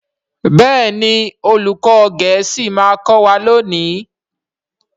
Béèni olùkó gèésì ma kò wá lóni.